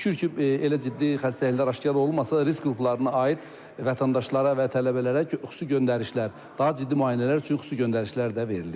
Şükür ki, elə ciddi xəstəliklər aşkar olunmasa risk qruplarına aid vətəndaşlara və tələbələrə xüsusi göndərişlər, daha ciddi müayinələr üçün xüsusi göndərişlər də verilib.